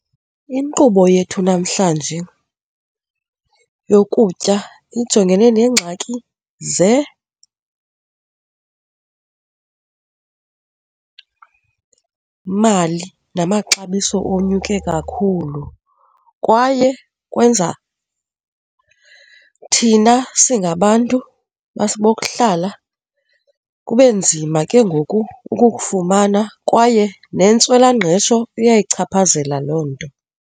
Inkqubo yethu namhlanje yokutya ijongene neengxaki mali namaxabiso onyuke kakhulu kwaye kwenza thina singabantu bokuhlala kube nzima ke ngoku ukukufumana kwaye nentswelangqesho iyayichaphazela loo nto.